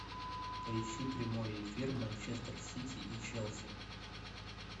поищи прямой эфир манчестер сити и челси